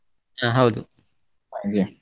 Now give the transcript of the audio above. ಹ ಹೌದು, ಹಾಗೆ.